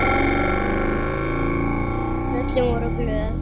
Tröllin voru glöð.